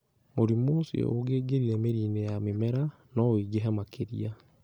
Mũrimũ ũcio ũngĩaingĩrire mĩri-inĩ ya mĩmera, no ũingĩhe makĩria.